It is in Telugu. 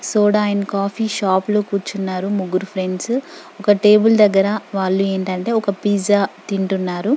సోడా అండ్ కాఫీ షాపు లో కూర్చున్నారు ముగ్గురు ఫ్రెండ్సు ఒక టేబుల్ దగ్గర వాళ్ళు ఏంటంటే ఒక పిజ్జా తింటున్నారు.